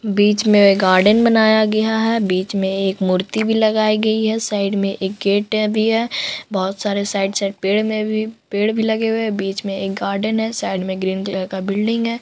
बीच में एक गार्डन बना गया है बीच में एक मूर्ति भी लगाई गई है साइड में एक गेट भी है बहुत सारे साइड साइड पेड़ में भी पेड़ भी लगे हुए हैं बीच में एक गार्डन है साइड में ग्रीन कलर का बिल्डिंग है।